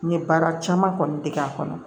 N ye baara caman kɔni dege k'a kɔnɔ